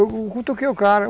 Eu cutuquei o cara.